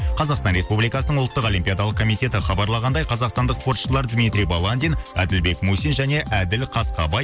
қазақстан республикасының ұлттық олимпиадалық комитеті хабарлағандай қазақстандық спортшылар дмитрий баландин әділбек мусин және әділ қасқабай